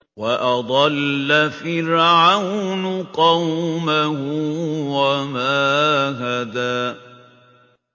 وَأَضَلَّ فِرْعَوْنُ قَوْمَهُ وَمَا هَدَىٰ